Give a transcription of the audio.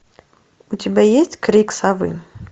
у тебя есть крик совы